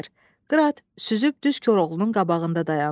Qırat süzüb düz Koroğlunun qabağında dayandı.